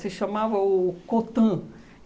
Se chamava o Cotan.